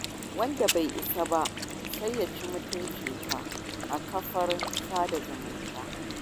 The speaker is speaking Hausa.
Wanda bai isa ba sai ya ci mutuncika a kafar sada zumunta.